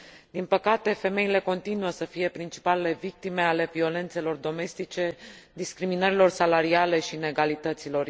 Din păcate, femeile continuă să fie principalele victime ale violențelor domestice, ale discriminărilor salariale și ale inegalităților.